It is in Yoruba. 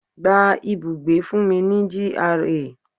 Gba ibùgbé fún mi ní GRA.